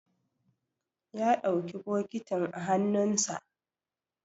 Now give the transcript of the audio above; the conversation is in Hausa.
ya ɗauki bokitin a hannunsa